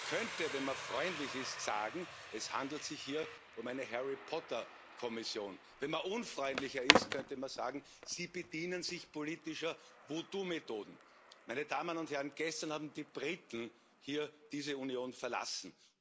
Man könnte, wenn man freundlich ist, sagen, es handelt sich hier um eine Harry Potter Kommission. Wenn man unfreundlicher ist, könnte man sagen Sie bedienen sich politischer Voodoo Methoden. Meine Damen und Herrn! Gestern haben die Briten hier diese Union verlassen.